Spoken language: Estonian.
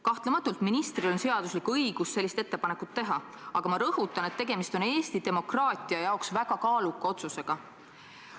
Kahtlemata on ministril seaduslik õigus sellist ettepanekut teha, aga ma rõhutan, et tegemist on Eesti demokraatia jaoks väga kaaluka otsusega.